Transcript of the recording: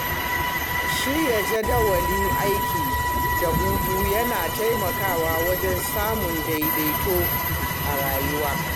Shirya jadawalin aiki da hutu yana taimakawa wajen samun daidaito a rayuwa.